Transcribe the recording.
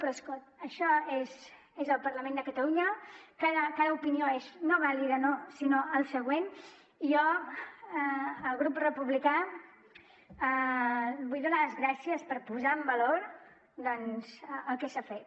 però això és el parlament de catalunya cada opinió és no vàlida no sinó el següent i jo al grup republicà vull donar li les gràcies per posar en valor doncs el que s’ha fet